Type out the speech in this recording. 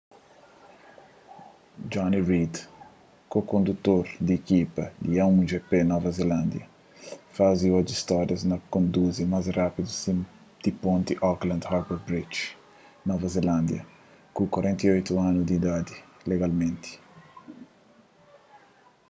jonny reid ko-kondutor di ikipa a1gp nova zelándia faze oji stória na konduzi más rápidu riba di ponti auckland harbour bridge nova zelándia ku 48 anu di idadi legalmenti